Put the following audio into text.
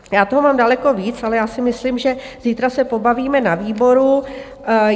Já toho mám daleko víc, ale já si myslím, že zítra se pobavíme na výboru.